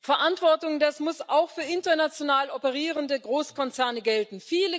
Verantwortung, das muss auch für international operierende Großkonzerne gelten.